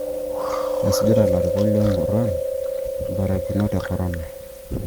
Mesujita ilarikok lo muruan imbarakinot e Corona